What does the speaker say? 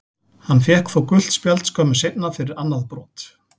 Hann fékk þó gult spjald skömmu seinna fyrir annað brot.